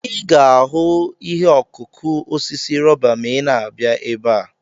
Ị ga-ahụ ihe ọkụkụ osisi rọba ma ịna-abịa ebe a.